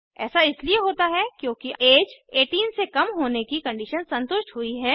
ऐसा इसलिए होता है क्योंकि ऐज 18 से कम होने की कंडीशन संतुष्ट हुई है